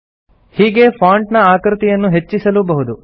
ಹೀಗೇ ಫಾಂಟ್ ನ ಆಕೃತಿಯನ್ನು ಹೆಚ್ಚಿಸಲೂ ಬಹುದು